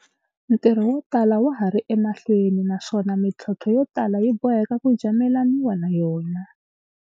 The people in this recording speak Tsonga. Ntirho wo tala wa ha ri emahlweni, naswona mi tlhontlho yo tala yi boheka ku jamelaniwa na yona.